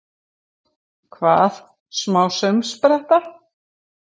Hvað, smá saumspretta!